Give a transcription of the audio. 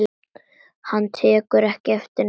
Hann tekur ekki eftir neinu.